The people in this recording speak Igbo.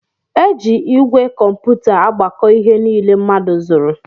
Eji igwe kómputa agbako ihe niile mmadụ zụrụ.